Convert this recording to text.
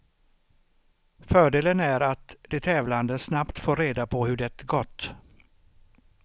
Fördelen är att de tävlande snabbt får reda på hur det gått.